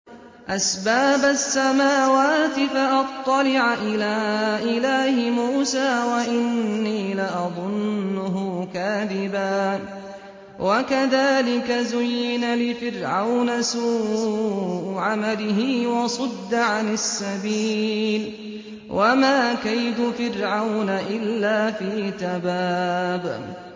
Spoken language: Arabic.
أَسْبَابَ السَّمَاوَاتِ فَأَطَّلِعَ إِلَىٰ إِلَٰهِ مُوسَىٰ وَإِنِّي لَأَظُنُّهُ كَاذِبًا ۚ وَكَذَٰلِكَ زُيِّنَ لِفِرْعَوْنَ سُوءُ عَمَلِهِ وَصُدَّ عَنِ السَّبِيلِ ۚ وَمَا كَيْدُ فِرْعَوْنَ إِلَّا فِي تَبَابٍ